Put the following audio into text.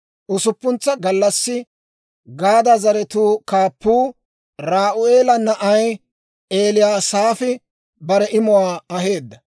Usuppuntsa gallassi Gaada zaratuu kaappuu, Re'u'eela na'ay Eliyasaafi bare imuwaa aheedda.